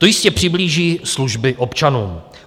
To jistě přiblíží služby občanům.